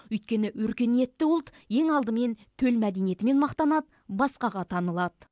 өйткені өркениетті ұлт ең алдымен төл мәдениетімен мақтанады басқаға танылады